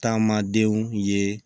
Taama denw ye